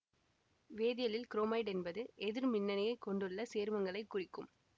வேதியியலில் chromite என்பது எதிர்மின்னயனியைக் கொண்டுள்ள சேர்மங்களைக் குறிக்கும்